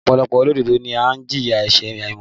Ọ̀pọ̀lọpọ̀ olódodo ló ń jìyà ẹ̀sẹ̀ àìmọ̀